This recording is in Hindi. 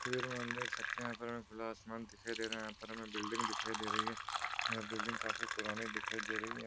तस्बीर में हम देख सकते है यहाँ पर हमे खुला आसमान दिखाई दे रहा है। यहाँ पर हमे बिल्डिंग दिखाई दे रही है। बिल्डिंग काफी पुरानी दिखाई दे रही है।